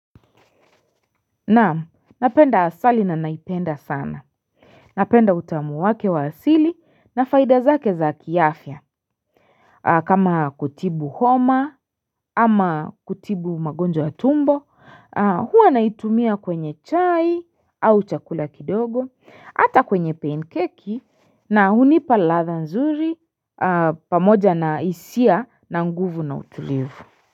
Naamu, napenda asali na naipenda sana Napenda utamu wake wa asili na faida zake za kiafya kama kutibu homa ama kutibu magonjwa ya tumbo huwa naitumia kwenye chai au chakula kidogo hata kwenye pancake na hunipa ladha nzuri pamoja na hisia na nguvu na utulivu.